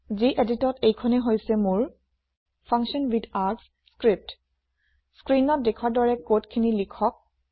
যিএদিত ত এইখনেই হৈছে মোৰ ফাংচনৱিথাৰ্গছ লিপি স্ক্ৰীনত দেখোৱাৰ দৰে কোড খিনি লিখক